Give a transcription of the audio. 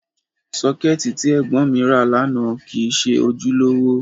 Sọ́kẹ́ẹ̀tì tí ẹ̀gbọ́n mi ra lánàá kìí ṣe ojúlówó.